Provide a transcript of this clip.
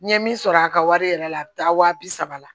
N ye min sɔrɔ a ka wari yɛrɛ la a bɛ taa wa bi saba la